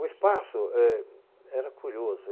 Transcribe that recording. O espaço êh era curioso.